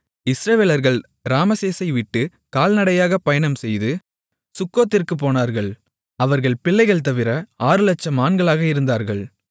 இஸ்ரவேலர்கள் ராமசேசைவிட்டுக் கால்நடையாகப் பயணம்செய்து சுக்கோத்திற்குப் போனார்கள் அவர்கள் பிள்ளைகள் தவிர ஆறுலட்சம் ஆண்களாக இருந்தார்கள்